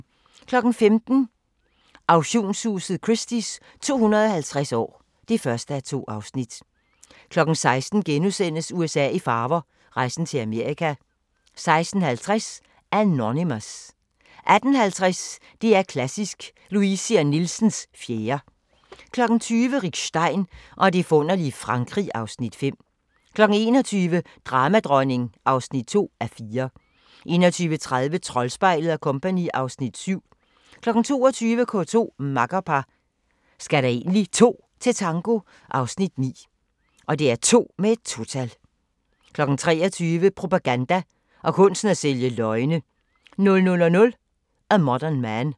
15:00: Auktionshuset Christie's 250 år (1:2) 16:00: USA i farver – rejsen til Amerika * 16:50: Anonymous 18:50: DR2 Klassisk – Luisi & Nielsens 4. 20:00: Rick Stein og det forunderlige Frankrig (Afs. 5) 21:00: Dramadronning (2:4) 21:30: Troldspejlet & Co. (Afs. 7) 22:00: K2: Makkerpar – skal der egentlig 2 til tango? (Afs. 9) 23:00: Propaganda og kunsten at sælge løgne 00:00: A Modern Man